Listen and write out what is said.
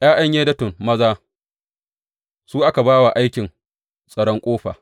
’Ya’yan Yedutun maza, su aka ba wa aikin tsaron ƙofa.